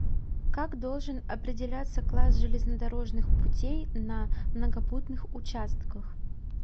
как должен определяться класс железнодорожных путей на многопутных участках